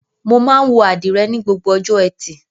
Mo máa ń wọ àdìrẹ́ ni gbogbo ọjọ́ ẹtì.